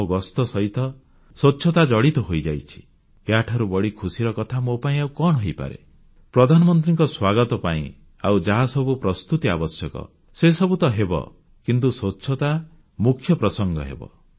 ମୋ ଗସ୍ତ ସହିତ ସ୍ୱଚ୍ଛତା ଜଡ଼ିତ ହୋଇଯାଇଛି ଏହାଠାରୁ ବଳି ଖୁସିର କଥା ମୋ ପାଇଁ ଆଉ କଣ ହୋଇପାରେ ପ୍ରଧାନମନ୍ତ୍ରୀଙ୍କ ସ୍ୱାଗତ ପାଇଁ ଆଉ ଯାହାସବୁ ପ୍ରସ୍ତୁତି ଆବଶ୍ୟକ ସେସବୁ ତ ହେବ କିନ୍ତୁ ସ୍ୱଚ୍ଛତା ମୁଖ୍ୟ ପ୍ରସଙ୍ଗ ହେବ